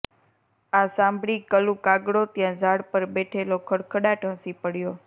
આ સાંભળીકલુ કાગડો ત્યાં ઝાડ પર બેઠેલો ખડખડાટ હસી પડ્યો